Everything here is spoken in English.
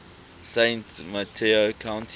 san mateo county